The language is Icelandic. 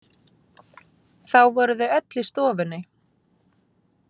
Þá voru þau öll í stofunni.